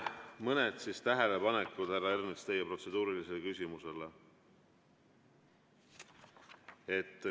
Mõned tähelepanekud, härra Ernits, teie protseduurilise küsimuse kohta.